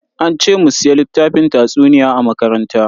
An ce mu siya littafin tatsuniya a makaranta.